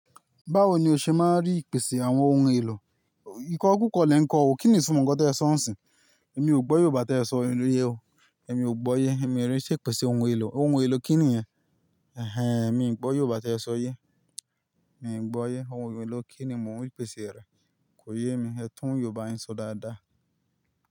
Báwo ni o ṣe máa ń rí ìpèsè àwọn ohun èlò? Ikọ́ kukọ́ lè ń kọ ọ. Kí ni ìtumọ̀ nǹkan tí ẹ sọ nisin? Èmi ò gbọ́ Yorùbá tí ẹ sọ yẹn o. Emi ò gbọ́ yé. Emi rí i ṣe ìpèsè ohun èlò. Ohun èlò kí ni yẹn? Ẹ̀hen, èmi kò gbọ́ Yorùbá tí ẹ sọ yé. Mii gbọ́ yé. Emi ò gbọ́ yé. Kò yé mi. Ẹ tún Yorùbá yín sọ dáadáa.